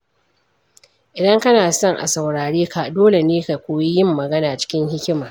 Idan kana son a saurare ka, dole ne ka koyi yin magana cikin hikima.